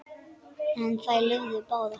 En þær lifðu báðar.